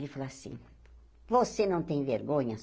Ele falou assim, você não tem vergonha?